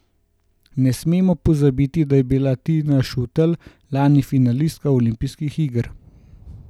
Ne smemo pozabiti, da je bila Tina Šutej lani finalistka olimpijskih iger.